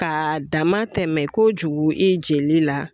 Ka dama tɛmɛ kojugu i jeli la